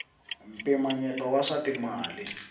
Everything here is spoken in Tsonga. mpimanyeto wa swa timali